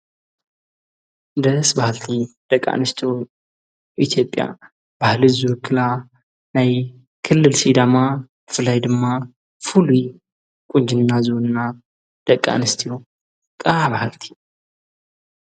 ደስ ባሃልቲ ደቂ ኣንስትዮ ኢትዮጲያ ባህሊ ዝውክላ ናይ ክልል ሲዳማ ፍላይ ድማ ፉሉይ ቊንጅና ዝውንና ደቂ ኣንስቲዩ ቃባሃልቲ።